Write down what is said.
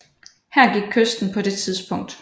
Her gik kysten på det tidspunkt